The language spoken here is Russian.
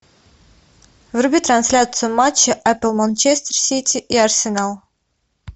вруби трансляцию матча апл манчестер сити и арсенал